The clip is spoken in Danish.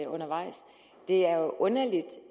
undervejs det er jo underligt